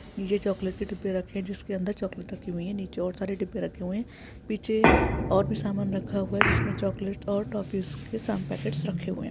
नीचे चॉकलेट के डिब्बे रखे जिसके अंदर चॉकलेट रखी हुई है नीचे और सारे डिब्बे रखे हुए है पीछे और भी सामान रखा हुआ है जिसमें चॉकलेट और टॉफिस के सम पैकेट्स रखे हुए है।